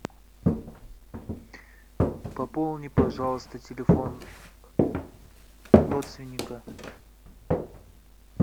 пополни пожалуйста телефон родственника